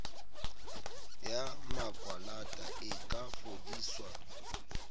ya makwalata e ka fodiswa